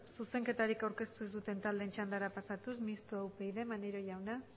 zuzenketarik aurkeztu duten taldeen txandara pasatuz mixtoa upyd maneiro jauna